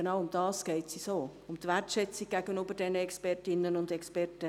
Genau darum geht es uns auch, um die Wertschätzung gegenüber diesen Expertinnen und Experten.